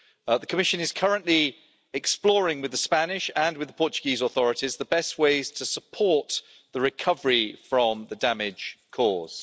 The Commission is currently exploring, with the Spanish and with the Portuguese authorities, the best ways to support the recovery from the damage caused.